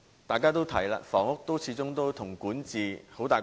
大家都提到，房屋始終與管治關係密切。